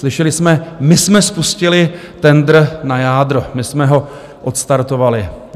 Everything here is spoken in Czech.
Slyšeli jsme: my jsme spustili tendr na jádro, my jsme ho odstartovali.